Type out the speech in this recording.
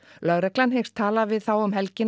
lögreglan hyggst tala við þá um helgina